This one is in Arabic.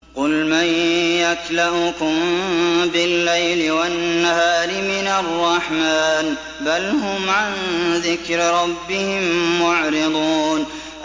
قُلْ مَن يَكْلَؤُكُم بِاللَّيْلِ وَالنَّهَارِ مِنَ الرَّحْمَٰنِ ۗ بَلْ هُمْ عَن ذِكْرِ رَبِّهِم مُّعْرِضُونَ